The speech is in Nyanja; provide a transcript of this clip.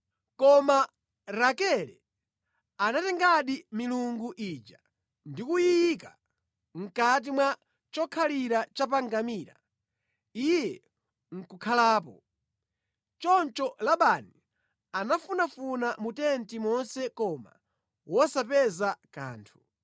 Koma Rakele anatengadi milungu ija ndi kuyiika mʼkati mwa chokhalira cha pa ngamira, iye nʼkukhalapo. Choncho Labani anafunafuna mu tenti monse koma wosapeza kanthu.